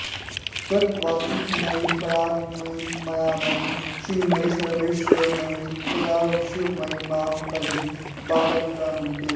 तत्त्वातीतमयी परात्परमयी मायामयी श्रीमयी सर्वैश्वर्यमयी सदाशिवमयी मां पहि बालाम्बिके